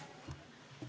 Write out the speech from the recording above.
Aitäh!